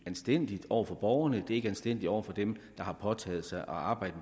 anstændigt over for borgerne det er ikke anstændigt over for dem der har påtaget sig at arbejde